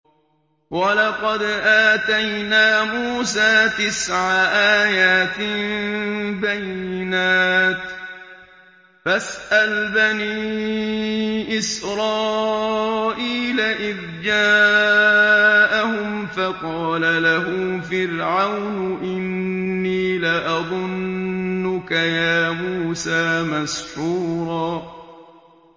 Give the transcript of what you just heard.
وَلَقَدْ آتَيْنَا مُوسَىٰ تِسْعَ آيَاتٍ بَيِّنَاتٍ ۖ فَاسْأَلْ بَنِي إِسْرَائِيلَ إِذْ جَاءَهُمْ فَقَالَ لَهُ فِرْعَوْنُ إِنِّي لَأَظُنُّكَ يَا مُوسَىٰ مَسْحُورًا